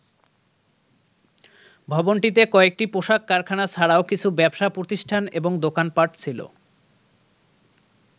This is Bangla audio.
ভবনটিতে কয়েকটি পোশাক কারখানা ছাড়াও কিছু ব্যবসা প্রতিষ্ঠান এবং দোকান পাট ছিল।